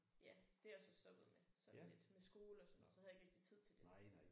Ja det er jeg så stoppet med sådan lidt med skole og sådan så havde jeg ikke rigtig tid til det